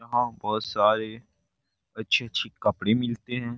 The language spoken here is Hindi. यहाँ बहुत सारे अच्छी-अच्छी कपड़े मिलते हैं।